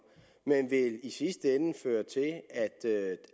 men vil i sidste ende føre til at